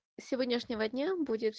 сегодняшнего дня будет